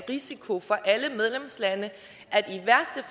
risiko for alle medlemslande